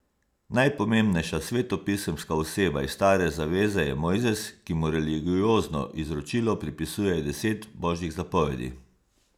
Najpomembnejša svetopisemska oseba iz Stare zaveze je Mojzes, ki mu religiozno izročilo pripisuje deset božjih zapovedi.